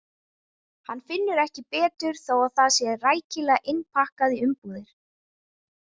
Hann finnur ekki betur þó að það sé rækilega innpakkað í umbúðir.